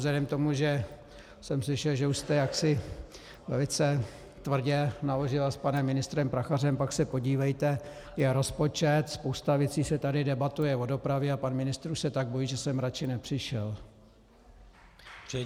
Vzhledem k tomu, že jsem slyšel, že už jste jaksi velice tvrdě naložila s panem ministrem Prachařem, pak se podívejte, je rozpočet, spousta věcí se tady debatuje o dopravě a pan ministr se už tak bojí, že sem radši nepřišel.